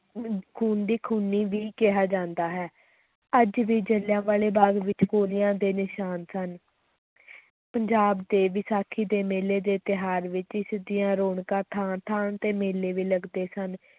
ਖੂਨ ਦੀ ਖੂਨੀ ਵੀ ਕਿਹਾ ਜਾਂਦਾ ਹੈ, ਅੱਜ ਵੀ ਜਲਿਆਂਵਾਲੇ ਬਾਗ਼ ਵਿੱਚ ਗੋਲੀਆਂ ਦੇ ਨਿਸ਼ਾਨ ਸਨ ਪੰਜਾਬ ਦੇ ਵਿਸਾਖੀ ਦੇ ਮੇਲੇ ਦੇ ਤਿਉਹਾਰ ਰੌਣਕਾਂ ਥਾਂ-ਥਾਂ ਤੇ ਮੇਲੇ ਵੀ ਲੱਗਦੇ ਸਨ।